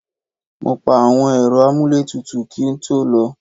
Mo pa àwọn Ẹ̀rọ amuletutu kí n tó lọ.